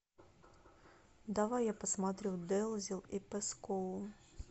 давай я посмотрю дэлзил и пэскоу